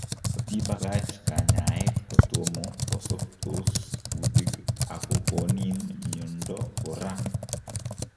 Kotiibakach kanyaeet kotomo kosobtos kuutik akokoni miondo koraa